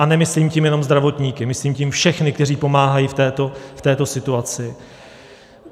A nemyslím tím jenom zdravotníky, myslím tím všechny, kteří pomáhají v této situaci.